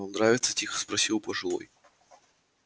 вам нравится тихо спросил пожилой